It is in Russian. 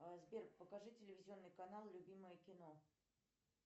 сбер покажи телевизионный канал любимое кино